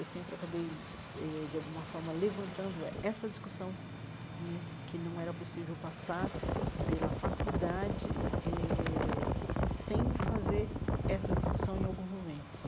Eu sempre acabei eh, de alguma forma, levantando essa discussão né, que não era possível passar pela faculdade eh sem fazer essa discussão em alguns momentos.